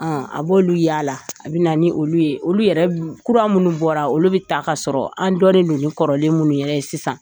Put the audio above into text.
a b'olu yaala, an bɛ na ni olu ye , olu yɛrɛ kura minnu bɔra, olu bɛ ta k'a sɔrɔ an dɔnnen don ni kɔrɔlen minnu yɛrɛ ye sisan